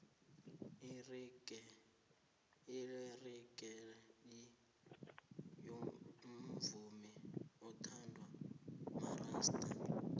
irigeyi umvumo othandwa marasta